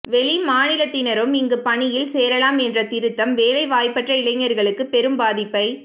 வெளி மாநிலத்தினரும் இங்கு பணியில் சேரலாம் என்ற திருத்தம் வேலை வாய்ப்பற்ற இளைஞர்களுக்கு பெரும் பாதிப்பை